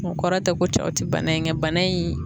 O kɔrɔ tɛ ko cɛw tɛ bana in kɛ, bana in